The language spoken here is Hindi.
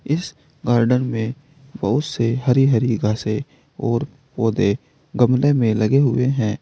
इस गार्डन में बहुत से हरी हरी घासें और पौधे गमले में लगे हुए हैं।